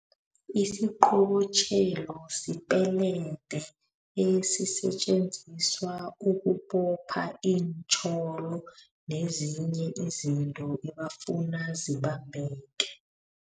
Isiqobotjhelo sipelede esisetjenziswa ukubopha iintjholo, nezinye izinto ebafuna zibambeke.